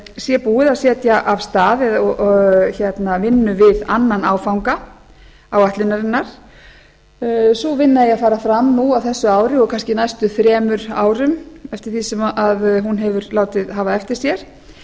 sé búið að setja af stað vinnu við annan áfanga áætlunarinnar á vinna eigi að fara fram núna á þessu ári og kannski næstu þremur árum eftir því sem hún hefur látið hafa eftir sér